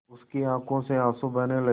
उसकी आँखों से आँसू बहने लगे